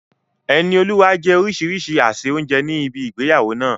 Enioluwa jẹ orísìírísìí àsè oúnjẹ ní ibi ìgbéyàwó náà.